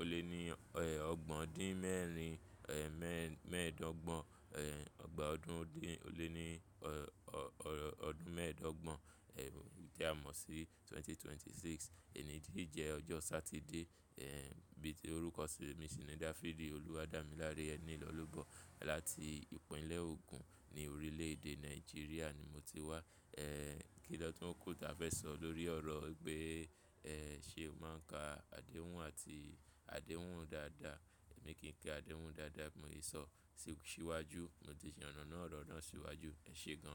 ó lé ní ẹ́ ogbọn dín mẹ́rin, ẹ́ mẹ́ẹ̀, mẹ́ẹ̀dọ́gbọ̀n, ẹ́ ẹgbàá ọdún ó dín ó lé ní ọ ọ ọdún mẹ́ẹ̀dọ́gbọ̀n. Ẹ̀h tí a mọ̀ sí 2026. Èní tì jẹ́ ọjọ́ Satide. Ẹ̀h bí i tí orúkọ mi sì ni Dáfídì Olúwadámiláré Enilọ́lobọ̀ láti ìpínlẹ̀ Ogun ní orílẹ̀ èdè Nàìjíríà ni mo ti wá. Ẹ̀h kí lọ̀túnkù ta fẹ́ sọ lórí ọ̀rọ̀ pé ẹ́ ṣe o máa ń ka àdéhùn àti àdéhùn dáadáa. Èmi kì í ka àdéhùn dáadáa, mo lè sọ sí iwájú, mo ti ṣì yànàná ọ̀rọ̀ náà sí iwájú. Ẹ ṣe gan ni.